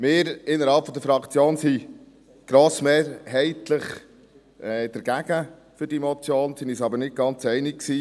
Wir sind innerhalb der Fraktion grossmehrheitlich gegen diese Motion, waren uns aber nicht ganz einig.